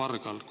Aitäh!